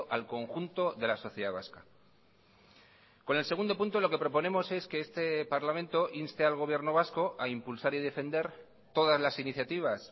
al conjunto de la sociedad vasca con el segundo punto lo que proponemos es que este parlamento inste al gobierno vasco a impulsar y defender todas las iniciativas